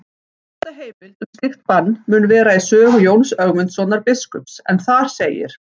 Elsta heimild um slíkt bann mun vera í sögu Jóns Ögmundssonar biskups en þar segir: